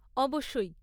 অবশ্যই।